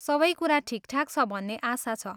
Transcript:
सबै कुरा ठिकठाक छ भन्ने आशा छ।